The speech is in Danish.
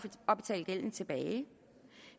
at betale gælden tilbage